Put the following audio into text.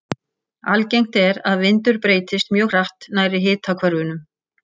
Algengt er að vindur breytist mjög hratt nærri hitahvörfunum.